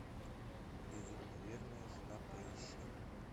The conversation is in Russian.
безумно верная жена поищи